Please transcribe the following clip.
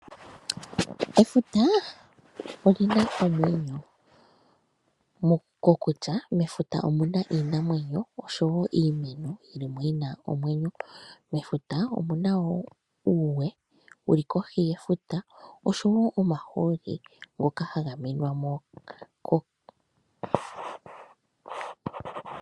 Efuta olina omwenyo, kokutya mefuta omuna iinamwenyo oshowo iimeno yina omwenyo, mefuta omuna woo uuwe wuli kohi yefuta oshowo omahooli ngoka haga longwa mo.